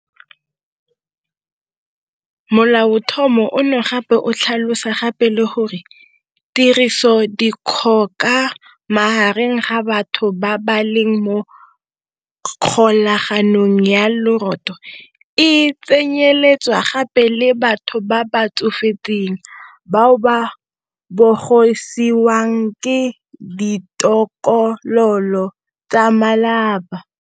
Molaotlhomo ono gape o tlhalosa gape le gore 'tirisodikgoka magareng ga batho ba ba leng mo kgolaganong ya lorato' e tsenyeletsa gape le batho ba ba tsofetseng bao ba bogisiwang ke ditokololo tsa malapa.